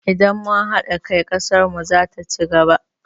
Idan mun haɗa kai, ƙasar mu zata ci gaba.